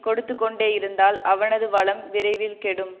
கொடுத்து கொண்டேயிருந்தால் அவனது வளம் விரைவில் கெடும்